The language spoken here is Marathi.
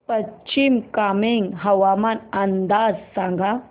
पश्चिम कामेंग हवामान अंदाज सांगा